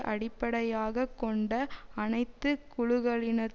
அடிப்படையாக கொண்ட அனைத்து குழுக்களினதும்